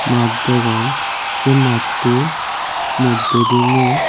maat degong se mattu moddedi mui.